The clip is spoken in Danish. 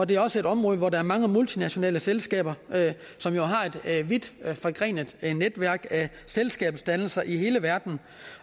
det er også et område hvor der er mange multinationale selskaber som jo har et vidt forgrenet netværk og selskabsdannelser i hele verden